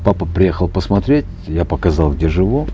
папа приехал посмотреть я показал где живу